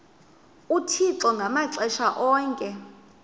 uthixo ngamaxesha onke